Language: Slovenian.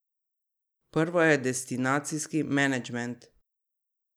Prvo je destinacijski menedžment.